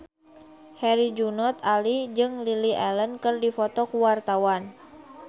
Herjunot Ali jeung Lily Allen keur dipoto ku wartawan